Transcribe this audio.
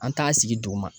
An t'a sigi duguma